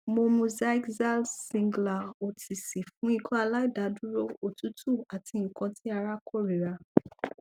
mo mu xyzal singulair otc fun ikọaláìdúró otutu ati nkan ti ara korira